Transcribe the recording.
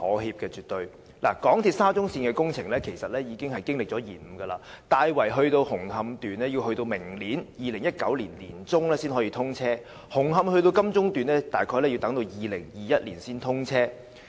香港鐵路有限公司沙中線的工程已經延誤，大圍至紅磡段要待明年年中才可以通車，紅磡至金鐘段大概要於2021年才通車。